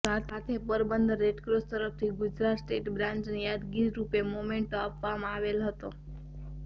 સાથે પોરબંદર રેડક્રોસ તરફથી ગુજરાત સ્ટેટ બ્રાંચને યાદગીરીરૂપે મોમેન્ટો આપવામાં આવેલ હતો